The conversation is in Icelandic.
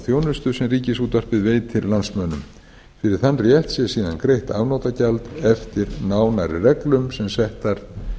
þjónustu sem ríkisútvarpið veitir landsmönnum fyrir þann rétt sé síðan greitt afnotagjald eftir nánari reglum sem settar